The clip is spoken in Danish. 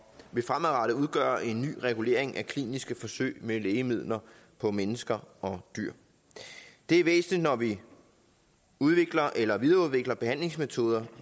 vil fremadrettet udgøre en ny regulering af kliniske forsøg med lægemidler på mennesker og dyr det er væsentligt når vi udvikler eller videreudvikler behandlingsmetoder